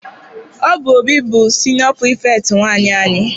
Ọ bụ Obi bụ siniọ pirifektị nwaanyị anyị.